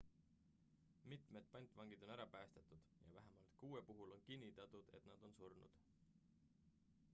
mitmed pantvangid on ära päästetud ja vähemalt kuue puhul on kinnitatud et nad on surnud